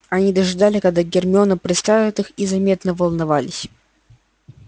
они ожидали когда гермиона представит их и заметно волновались